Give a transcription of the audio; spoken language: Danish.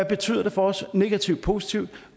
betyder for os negativt og positivt